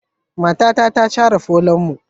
Matata ta share falonmu.